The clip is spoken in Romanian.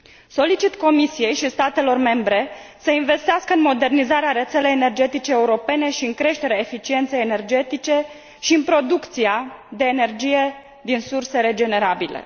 Solicit Comisiei și statelor membre să investească în modernizarea rețelei energetice europene și în creșterea eficienței energetice și în producția de energie din surse regenerabile.